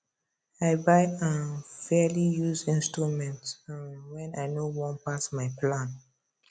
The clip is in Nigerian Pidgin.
i buy um fairly used instruments um wen i no wan pass my plan